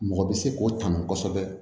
Mɔgɔ bɛ se k'o kanu kosɛbɛ